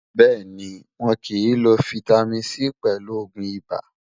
béèni, wón kí n ló fìtámín C pèlù ògún ibà